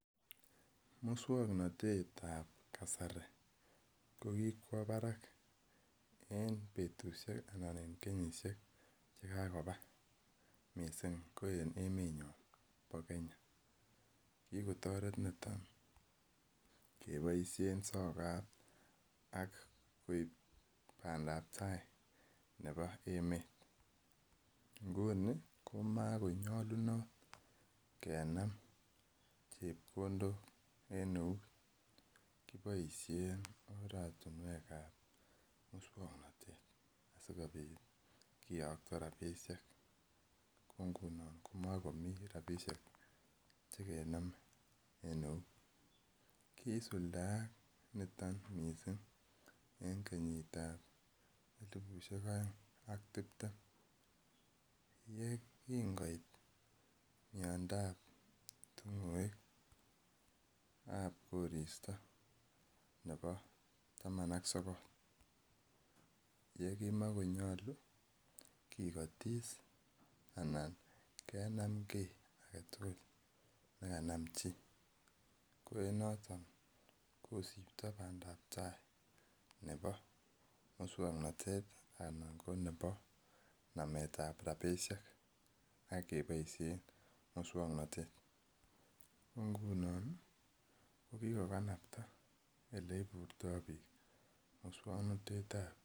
Musuaknotetab kasari ko kikwo barak en betusiek Anan en kenyisiek chekagoba missing ko en emenyon ba Kenya. Kikotaret niton kebaisien sokat ak koib bandab tai nebo emeet. Nguni koma ko nyalunot kenam chebkondok en euut, kiboisien ortinuek kab musuaknotet asikiyakto rabisiek ko ngunon ko makomi rabisiek chegename en euut. Kisuldak niton missing en korista nebo elibut ak taman ak sokol. Yekingoit miandab ting'oek chebo koristab taman ak sokolen ki agetugul nekanam chi . Musuaknotet anan anan ko nametab rabisiek ko ngunon ko kikokapta sabet musuaknotetab kasari